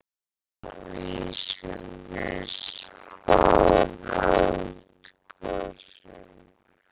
Geta vísindin spáð eldgosum?